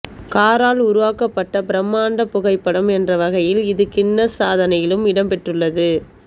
காரால் உருவாக்கப்பட்ட பிரமாண்ட புகைப்படம் என்ற வகையில் இது கின்னஸ் சாதனையிலும் இடம் பெற்றுள்ளது